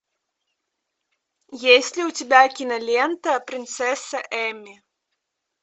есть ли у тебя кинолента принцесса эмми